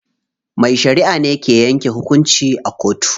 Mai shariʼa ne ke yanke hukunci a kotu.